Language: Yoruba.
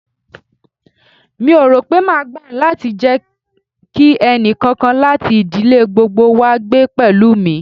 Mi ò rò pé máa gbà láti jẹ kí ẹnì kankan láti ìdílé gbogbo wá gbé pẹ̀lú mi.